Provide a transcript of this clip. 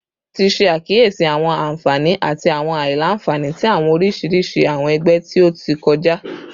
Ti ṣe akiyesi awọn anfani ati awọn alailanfani ti awọn oriṣiriṣi awọn ẹgbẹ ti o ti kọja